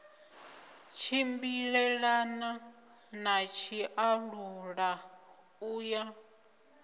tshimbilelana na tshiṱalula u ya